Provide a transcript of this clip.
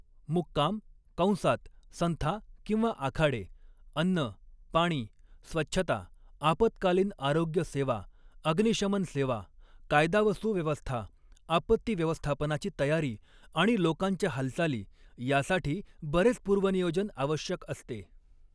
मुक्काम कंसात संथा किंवा आखाडे, अन्न, पाणी, स्वच्छता, आपत्कालीन आरोग्य सेवा, अग्निशमन सेवा, कायदा व सुव्यवस्था, आपत्ती व्यवस्थापनाची तयारी आणि लोकांच्या हालचाली यासाठी बरेच पूर्वनियोजन आवश्यक असते.